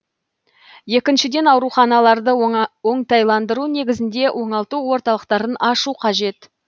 екіншіден ауруханаларды оңтайландыру негізінде оңалту орталықтарын ашу қажет